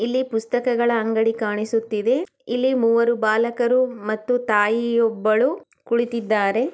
ಇಲ್ಲಿ ಪುಸ್ತಾಕ್ಗಳ ಅಂಗಡಿ ಕಾಣಿಸುತಿದ್ದೆ ಇಲ್ಲಿ ಮೂವರು ಬಾಲಕರು ಮತ್ತು ತಾಯಿ ಯೂಬ್ಬಳು ಕುಳಿತಿದ್ದಾರೆ.